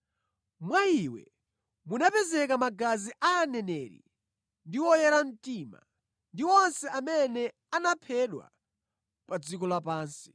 Mwa iye munapezeka magazi a aneneri ndi a oyera mtima, ndi onse amene anaphedwa pa dziko lapansi.”